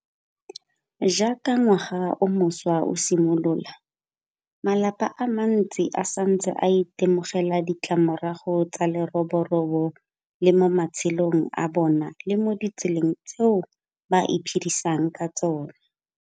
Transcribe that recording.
Jaaka ngwaga o mošwa o simolola, malapa a mantsi a santse a itemogela ditlamorago tsa leroborobo le mo matshelong a bona le mo ditseleng tseo ba iphedisang ka tsona.